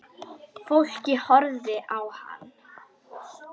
Fólkið horfði á hann.